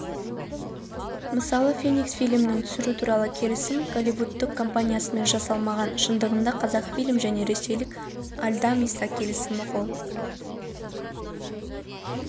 мысалы феникс фильмін түсіру туралы келісім голливудтық компаниясымен жасалмаған шындығында қазақфильм және ресейлік альдамиса келісімге қол